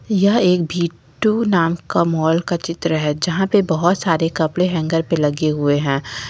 यह एक भी टू नाम का माल का चित्र है जहां पर बहुत सारे कपड़े हैंगर पर लगे हुए हैं।